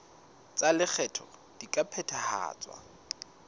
tsa lekgetho di ka phethahatswa